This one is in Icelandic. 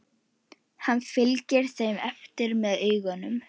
Hann fylgir þeim eftir með augunum.